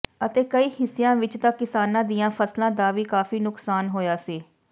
ਅਤੇ ਕਈ ਹਿੱਸਿਆਂ ਵਿੱਚ ਤਾਂ ਕਿਸਾਨਾਂ ਦੀਆਂ ਫ਼ਸਲਾਂ ਦਾ ਵੀ ਕਾਫ਼ੀ ਨੁਕਸਾਨ ਹੋਇਆ ਸੀ